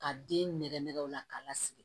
Ka den nɛgɛ nɛgɛ o la k'a lasigi